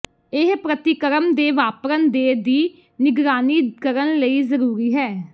ਇਹ ਪ੍ਰਤੀਕਰਮ ਦੇ ਵਾਪਰਨ ਦੇ ਦੀ ਨਿਗਰਾਨੀ ਕਰਨ ਲਈ ਜ਼ਰੂਰੀ ਹੈ